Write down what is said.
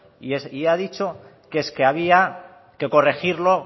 y ha dicho que es que había que corregirlo